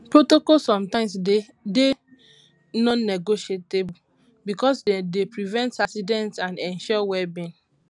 protocols sometimes dey non negotiable because dem dey prevent accident and ensure welbeing